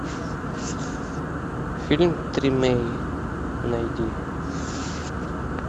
фильм тримей найди